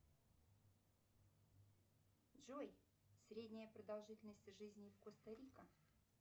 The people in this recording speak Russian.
джои средняя продолжительность жизни коста рика